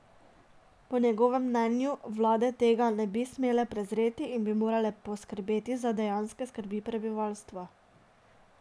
Po njegovem mnenju vlade tega ne bi smele prezreti in bi morale poskrbeti za dejanske skrbi prebivalstva.